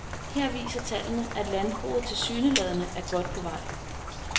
Her viser tallene, at landbruget tilsyneladende er godt på vej.